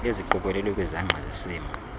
eziqokelelwe kwizangqa zesimo